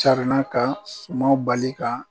Carinna ka kuma bali kan